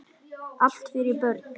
Allt fyrir börnin.